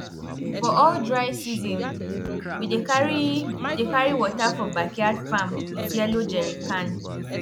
for all dry season we dey carry dey carry water for backyard farm with yellow jerrycan